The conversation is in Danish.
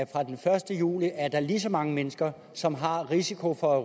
fra den første juli er lige så mange mennesker som har risiko for